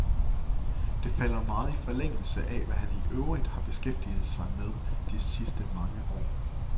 Det falder meget i forlængelse af, hvad han i øvrigt har beskæftiget sig med de sidste mange år.